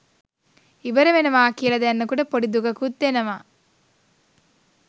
ඉවර වෙනවා කියල දැනෙනකොට පොඩි දුකකුත් එනවා